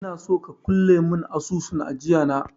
Inaso ka kulle mun asusun ajiya na